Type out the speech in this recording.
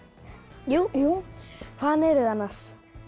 jú hvaðan eruð þið annars